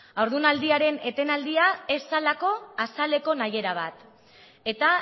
haurdunaldiaren etenaldia ez zelako azaleko nahiera bat eta